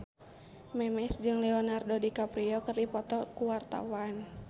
Memes jeung Leonardo DiCaprio keur dipoto ku wartawan